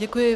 Děkuji.